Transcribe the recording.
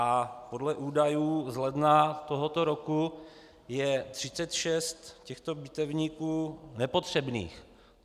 A podle údajů z ledna tohoto roku je 36 těchto bitevníků nepotřebných!